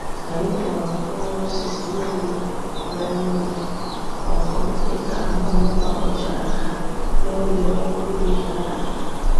Anyị kpọrọ mkpụrụ osisi niile rere ure ọkụ, dịka ahụhụ wakpochara ha n'oge ọrụ ubi gàrà ágá